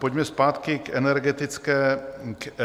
Pojďme zpátky k energetické krizi.